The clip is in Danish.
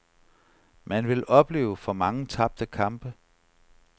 Man vil opleve for mange tabte kampe.